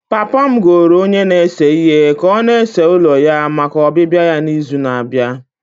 Papa m goro onye na-ese ihe ka ọ na-ese ụlọ ya maka ọbịbịa ya n'izu na-abịa.